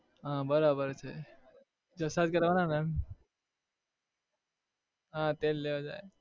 હા બરાબર છે જલસા જ કરવાના ને હા તેલ લેવા જાય